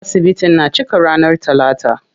Asibitin na cika ranar talata.